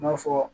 I n'a fɔ